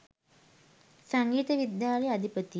සංගීත විද්‍යාලයේ අධිපති